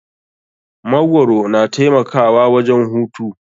Magwaro na taimakawa wajen hutu.